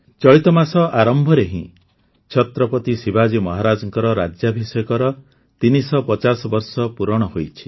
ଚଳିତ ମାସ ଆରମ୍ଭରେ ହିଁ ଛତ୍ରପତି ଶିବାଜୀ ମହାରାଜଙ୍କ ରାଜ୍ୟାଭିଷେକର ୩୫୦ ବର୍ଷ ପୂରଣ ହୋଇଛି